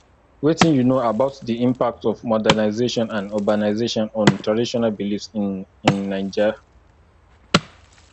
wetin you know about di impact of modernization and urbanization on traditional beliefs in in naija